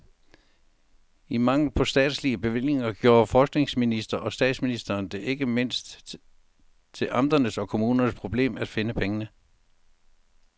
I mangel på statslige bevillinger gjorde forskningsminister og statsminister det ikke mindst til amternes og kommunernes problem at finde pengene.